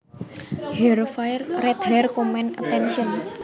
Her fire red hair commanded attention